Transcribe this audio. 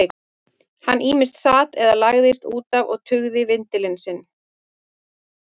Hann ýmist sat eða lagðist út af og tuggði vindil sinn.